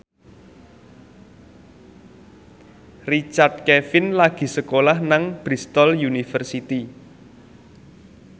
Richard Kevin lagi sekolah nang Bristol university